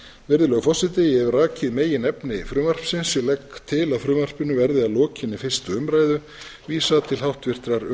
virðulegur forseti ég hef rakið meginefni frumvarpsins og legg til að frumvarpinu verði að lokinni fyrstu umræðu vísað til háttvirtrar